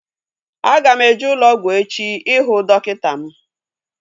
Aga m eje ụlọ ọgwụ echi ihu dọkịta m